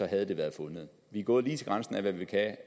havde været fundet vi er gået lige til grænsen af hvad vi kan